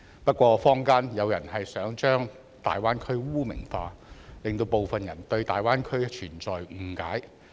不過坊間有人想把大灣區污名化，令部分人對大灣區存在誤解。